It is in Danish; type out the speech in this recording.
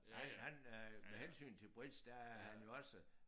Han han øh med hensyn til bridge der er han jo også